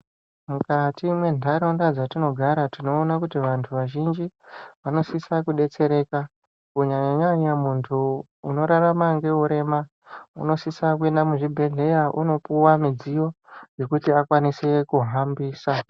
Mukati mendarawunda dzatinogara tinowona kuti vantu vazhinji, vanosisa kudetsereka, kunyanya nyanya, muntu unorarama ngewurema unosisa kuyenda muzvibhedhlela unopiwa midziyo yekuti akwanise kuhambisa.